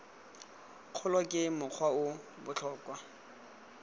kgolo ke mokgwa wa botlhokwa